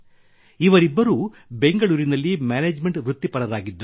ಇವರಿಬ್ಬರೂ ಬೆಂಗಳೂರಿನಲ್ಲಿ ಮ್ಯಾನೇಜ್ಮೆಂಟ್ ವೃತ್ತಿಪರರಾಗಿದ್ದರು